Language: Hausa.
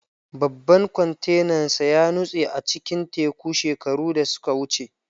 Babban kwantenansa ya nutse a cikin teku shekaru da suka wuce.